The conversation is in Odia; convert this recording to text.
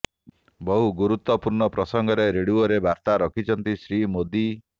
ବହୁ ଗୁରୁତ୍ୱପୂର୍ଣ୍ଣ ପ୍ରସଙ୍ଗରେ ରେଡିଓରେ ବର୍ତ୍ତା ରଖିଛନ୍ତି ଶ୍ରୀ ମୋଦି